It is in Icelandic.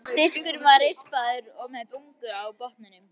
Diskurinn var rispaður og með bungu á botninum.